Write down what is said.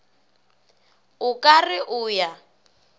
o ka re o ya